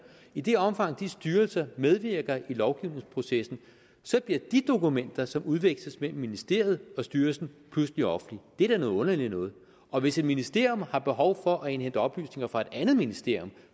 i det omfang de styrelser medvirker i lovgivningsprocessen så bliver de dokumenter som udveksles mellem ministeriet og styrelsen pludselig offentlige det er noget underligt noget og hvis et ministerium har behov for at indhente oplysninger fra et andet ministerium